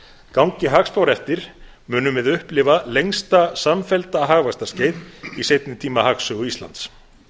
gangi hagspár eftir munum við upplifa lengsta samfellda hagvaxtarskeið í seinni tíma hagsögu íslands